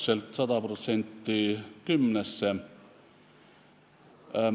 See läks 100% kümnesse.